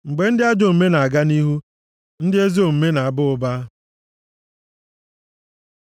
Mgbe ndị ajọ omume na-aga nʼihu, ndị ezi omume na-ezo onwe ha, ma mgbe ha nʼala nʼiyi, ndị ezi omume nʼaba ụba.